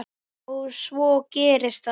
Og svo gerist þetta.